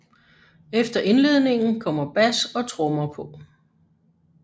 Efter indledningen kommer bas og trommer på